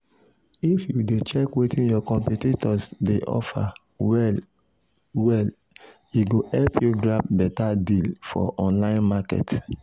if you dey check wetin your competitors dey offer well-well e go help you grab beta deal for online market.